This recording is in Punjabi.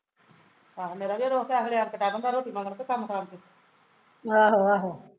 ਆਹੋ ਮੇਰਾ ਵੀ ਏਸ ਵੇਲੇ ਆ ਕੇ ਡਹਿ ਪੈਂਦਾ ਰੋਟੀ ਮਗਰ ਕਿ ਕੰਮ ਕਾਰਜ